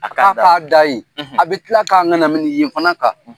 a bɛ tila